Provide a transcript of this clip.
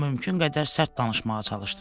O mümkün qədər sərt danışmağa çalışdı.